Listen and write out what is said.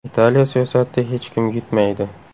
Italiya siyosatida hech kim yutmaydi.